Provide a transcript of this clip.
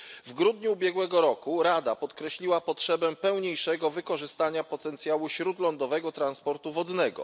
W grudniu ubiegłego roku Rada podkreśliła potrzebę pełniejszego wykorzystania potencjału śródlądowego transportu wodnego.